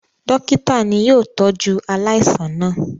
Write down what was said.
Dọ́kítá ni yóò tọ́jú aláìsàn náà.